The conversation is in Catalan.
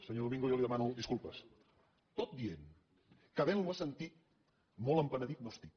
senyor domingo jo li demano disculpes tot dient que haventlo sentit molt penedit no estic